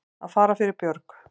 Að fara fyrir björg